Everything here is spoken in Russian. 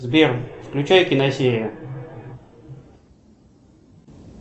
сбер включай киносерию